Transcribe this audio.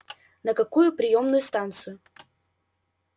на какую приёмную станцию